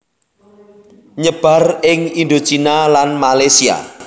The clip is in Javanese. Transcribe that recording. Nyebar ing Indochina lan Malesia